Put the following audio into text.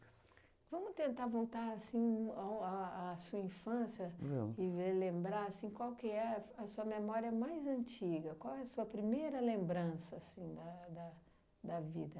Vamos tentar voltar, assim, ao a a sua infância e ver lembrar, assim, qual é f a sua memória mais antiga, qual é a sua primeira lembrança, assim, da da da vida.